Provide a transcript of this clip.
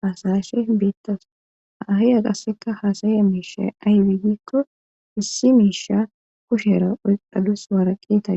haasayashe beettas ahaya qasseka haasaye miisha aybeegikko issi miisha kushera oyqadus waarakeeta